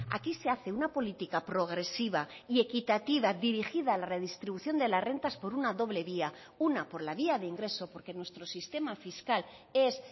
aquí se hace una política progresiva y equitativa dirigida a la redistribución de las rentas por una doble vía una por la vía de ingreso porque nuestro sistema fiscal es